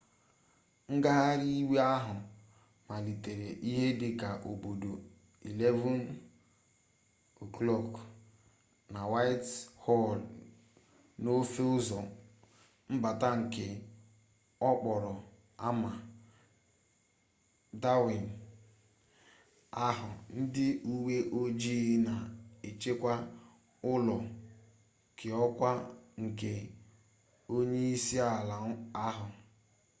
ngagharị iwe ahụ malitere ihe dị ka oge obodo 11:00 utc+1 na whitehall n’ofe ụzọ mbata nke okporo ámá downing ahụ ndị uwe ojii na-echekwa ụlọ keọkwa nke onye isi ala ahụ